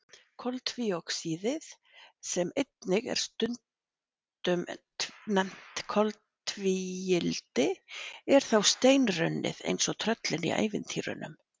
Koltvíoxíðið, sem einnig er stundum nefnt koltvíildi, er þá steinrunnið eins og tröllin í ævintýrunum.